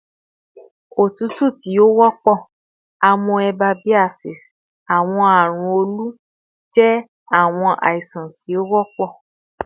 otutu ti o wọpọ, amoebiasis, ati awọn arun olu jẹ awọn aisan ti o wọpọ